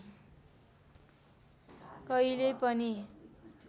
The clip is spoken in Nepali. कहिले पनि